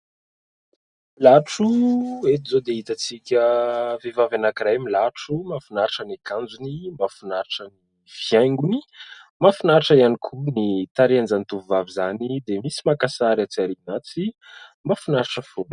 Latro ! Eto izao dia itantsika vehivavy anankiray milatro. Mahafinaritra ny akanjony. Mahafinaritra ny fihaingony. Mahafinaritra ihany koa ny tarehan'izany tovovavy izany dia misy maka sary atsy aoriana atsy. Mahafinaritra fona.